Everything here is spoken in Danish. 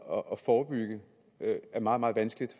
og forebygge er meget meget vanskeligt